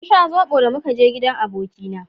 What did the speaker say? mun sha zobo da muka je gidan abokina